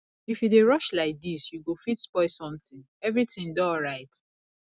if you dey rush like dis you go fit spoil something everything dey alright